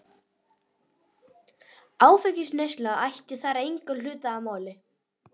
Áfengisneysla ætti þar engan hlut að máli.